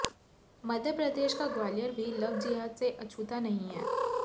मध्य प्रदेश का ग्वालियर भी लव जिहाद से अछूता नहीं है